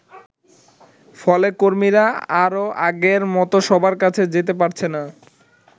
ফলে কর্মীরা আর আগের মতো সবার কাছে যেতে পারছেন না।